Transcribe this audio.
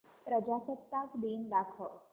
प्रजासत्ताक दिन दाखव